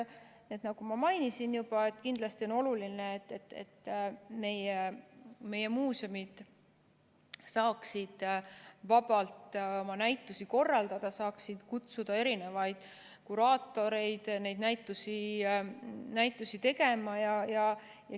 Nagu ma juba mainisin, kindlasti on oluline, et meie muuseumid saaksid vabalt oma näitusi korraldada, saaksid kutsuda erinevaid kuraatoreid neid näitusi tegema.